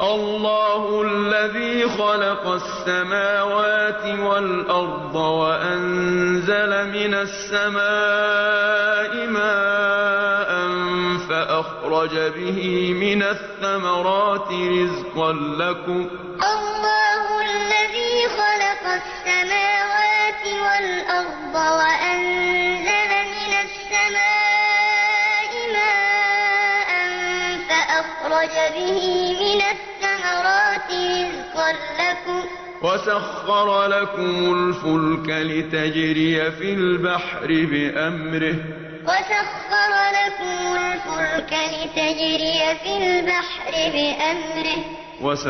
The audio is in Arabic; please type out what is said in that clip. اللَّهُ الَّذِي خَلَقَ السَّمَاوَاتِ وَالْأَرْضَ وَأَنزَلَ مِنَ السَّمَاءِ مَاءً فَأَخْرَجَ بِهِ مِنَ الثَّمَرَاتِ رِزْقًا لَّكُمْ ۖ وَسَخَّرَ لَكُمُ الْفُلْكَ لِتَجْرِيَ فِي الْبَحْرِ بِأَمْرِهِ ۖ وَسَخَّرَ لَكُمُ الْأَنْهَارَ اللَّهُ الَّذِي خَلَقَ السَّمَاوَاتِ وَالْأَرْضَ وَأَنزَلَ مِنَ السَّمَاءِ مَاءً فَأَخْرَجَ